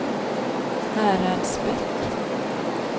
Häradsbäck